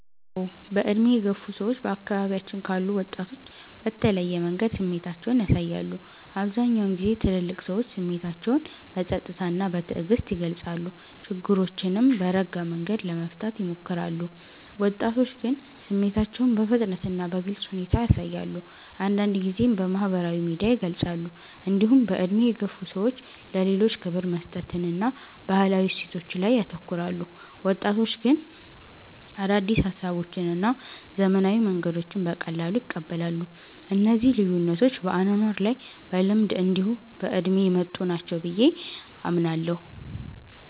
አዎ። በዕድሜ የገፉ ሰዎች በአካባቢያችን ካሉ ወጣቶች በተለየ መንገድ ስሜታቸውን ያሳያሉ። አብዛኛውን ጊዜ ትልልቅ ሰዎች ስሜታቸውን በጸጥታ እና በትዕግስት ይገልጻሉ፣ ችግሮችንም በረጋ መንገድ ለመፍታት ይሞክራሉ። ወጣቶች ግን ስሜታቸውን በፍጥነት እና በግልጽ ሁኔታ ያሳያሉ፣ አንዳንድ ጊዜም በማህበራዊ ሚዲያ ይገልጻሉ። እንዲሁም በዕድሜ የገፉ ሰዎች ለሌሎች ክብር መስጠትን እና ባህላዊ እሴቶችን ላይ ያተኩራሉ። ወጣቶች ግን አዳዲስ ሀሳቦችን እና ዘመናዊ መንገዶችን በቀላሉ ይቀበላሉ። እነዚህ ልዩነቶች በአኗኗር እና በልምድ እንዲሁ በእድሜ የመጡ ናቸው ብየ አምናለሁ።